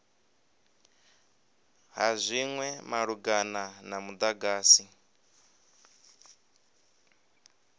ha zwinwe malugana na mudagasi